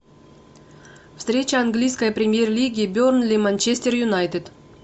встреча английской премьер лиги бернли манчестер юнайтед